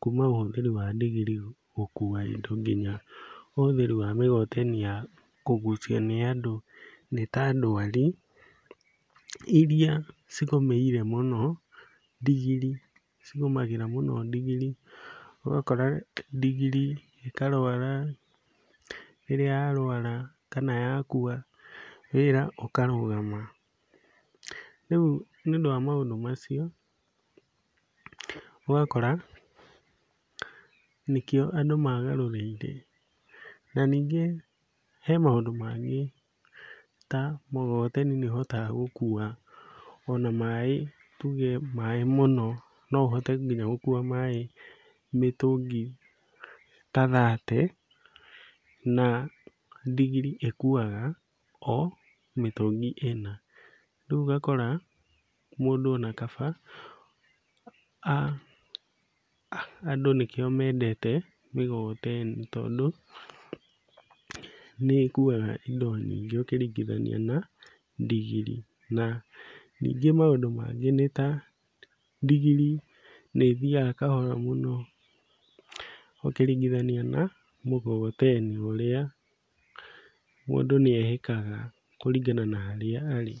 kuma gwa ũhũthĩri wa ndigiri gũkua indo nginya ũhũthĩri wa mĩgogoteni ya kũgucio nĩ andũ nĩ ta ndwari, iria cigũmĩire mũno ndigiri cigũmagĩra mũno ndigiri. Ũgakora ndigiri ĩkarwara, rĩrĩa yarwara kana ya kua wĩra ũkarũgama. Rĩu nĩũndũ wa maũndũ macio ũgakora nĩkĩo andũ magarũrĩire. Na ningĩ hena maũndũ mangĩ, ta mũgogoteni nĩũhotaga gũkua ona maĩ tuge maĩ mũno, no ũhote nginya gũkua maĩ mĩtũngi ta thate, na ndigiri ĩkuaga o mĩtũngi ĩna. Rĩu ũgakora mũndũ ona kaba, andũ nĩkĩo mendete mĩgogoteni, tondũ nĩĩkuga indo nyingĩ ũkĩringithania na ndigiri, na ningĩ maũndũ mangĩ nĩ ta, ndigiri nĩĩthiaga kahora mũno ũkĩringithania na mũgogoteni ũrĩa mũndũ nĩehĩkaga kũringana na harĩa arĩ.